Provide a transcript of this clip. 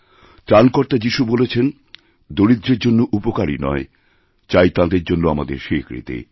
ত্রাণকর্তা যিশু বলেছেন দরিদ্রের জন্য উপকারই নয় চাই তাঁদের জন্য আমাদেরস্বীকৃতি